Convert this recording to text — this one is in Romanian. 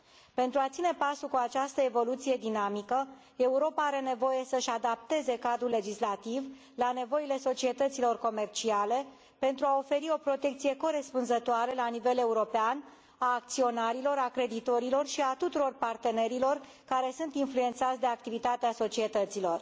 Pentru a ține pasul cu această evoluție dinamică, Europa are nevoie să își adapteze cadrul legislativ la nevoile societăților comerciale, pentru a oferi o protecție corespunzătoare la nivel european a acționarilor, a creditorilor și a tuturor partenerilor care sunt influențați de activitatea societăților.